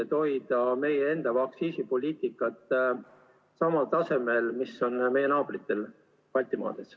Me püüame hoida meie aktsiise samal tasemel, mis on naabritel Baltimaades.